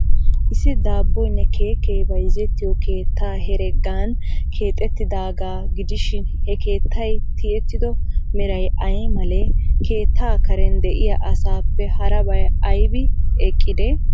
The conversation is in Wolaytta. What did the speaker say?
Issi daabboynne keekee bayzzettiyoo keettay heregan keexeettidaagaa gidishin, he keettay tiyettido meray ay malee? Keettaa Karen de'iyaa asaappe harabay aybi eqqidee?